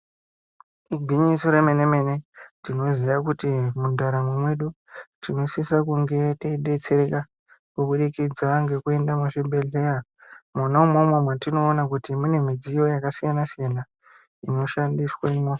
Igwinyiso remene-mene tinoziya kuti mundaramo mwedu tinosisa kunge teidetsereka kubudikidza ngekuenda muzvibhedhleya mwona umwomwo, mwetinoona kuti mune midziyo yakasiyana-siyana inoshandiswamwo.